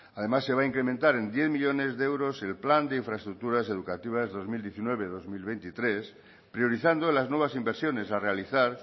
además se va a incrementar en diez millónes de euros el plan de infraestructuras educativas de dos mil diecinueve dos mil veintitrés priorizando las nuevas inversiones a realizar